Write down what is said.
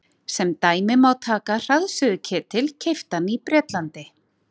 sem dæmi má taka hraðsuðuketil keyptan í bretlandi